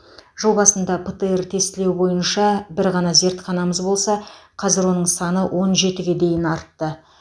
жыл басында птр тестілеу бойынша бір ғана зертханамыз болса қазір оның саны он жетіге дейін артты